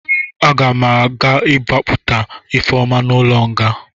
A ga m agbapụta Ifeoma n'ụlọ nga.